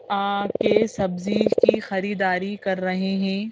आ के सब्जी की खरीदारी कर रहे हैं।